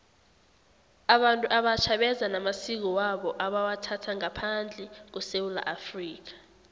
abantu abatjha beza namasiko wabo ebawathatha ngaphandle kwesewula afrika